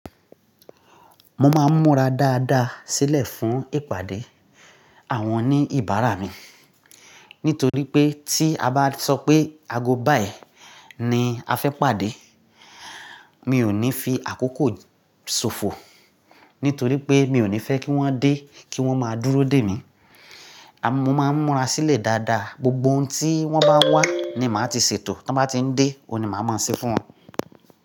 Mo máa ń múra dáadáa sílẹ̀ fún ìpàdé àwọn oní ìbára mi. Nítorí pé tí a bá sọ pé ago báyìí ni a fẹ́ pàdé, mi ò ní fi àkókò ṣòfò. Nítorí pé mi ò ní fẹ́ kí wọ́n dé kí wọ́n máa dúró dè mí. Mo máa ń múra sílẹ̀ dáadáa, gbogbo ohun tí wọ́n bá wá ní màá ti ṣètò, tí wọ́n bá ti ń dé, òun ni màá máa ṣe fún wọn.